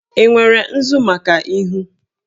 Ị nwere nzu maka ihu?